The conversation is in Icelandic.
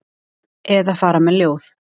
Eða fara með ljóð.